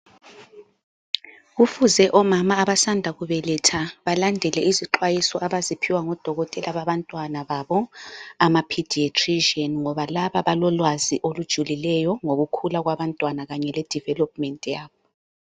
Kufuze omama abasanda kubeletha balandele izixwayiso abaziphiwa ngodokotela babantwana babo ama Pediatrician ngoba laba balolwazi olujulileyo ngokukhula kwabantwana kanye ke development yabo.